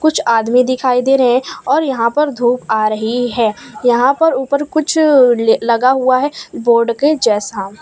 कुछ आदमी दिखाई दे रहे हैं और यहां पर धूप आ रही है यहां पर ऊपर कुछ लगा हुआ है बोर्ड के जैसा।